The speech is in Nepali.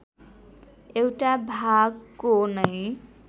एउटा भागको नैं